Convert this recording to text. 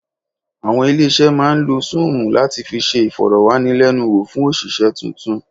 Àwọn ilé-iṣẹ́ máa ń lo Súùmù láti fi ṣe ìfọ̀rọ̀wánilẹ́nuwò fún òṣìṣẹ́ tuntun.